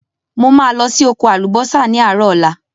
Mo ma lo si oko àlùbósà ni àárọ̀ ọ̀la